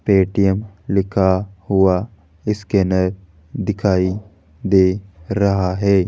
Paytm लिखा हुआ scanner दिखाई दे रहा है।